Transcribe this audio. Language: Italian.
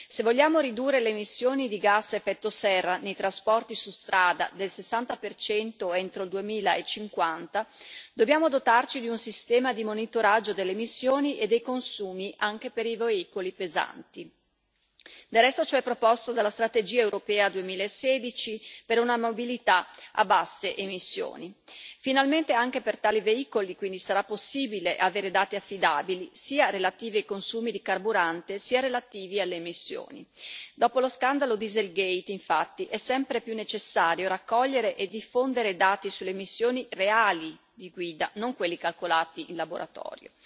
Se vogliamo ridurre le emissioni di gas ad effetto serra nei trasporti su strada del 60 entro il 2050, dobbiamo dotarci di un sistema di monitoraggio delle emissioni e dei consumi anche per i veicoli pesanti. Del resto, ciò è proposto dalla strategia europea 2016 per una mobilità a basse emissioni. Finalmente, anche per tali veicoli quindi sarà possibile avere dati affidabili, sia relativi ai consumi di carburante sia relativi alle emissioni. Dopo lo scandalo Dieselgate, infatti, è sempre più necessario raccogliere e diffondere dati sulle emissioni reali di guida, e non quelli calcolati in laboratorio.